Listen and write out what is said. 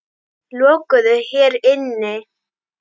Lokuðu hér inni.